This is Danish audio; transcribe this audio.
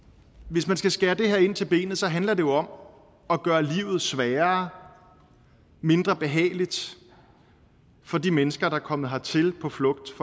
hvis man skal skære ind til benet handler det jo om at gøre livet sværere mindre behageligt for de mennesker der er kommet hertil på flugt